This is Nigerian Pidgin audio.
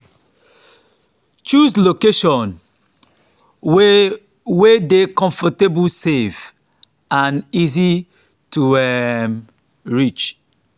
choose location wey wey dey comfortable safe and easy to um reach.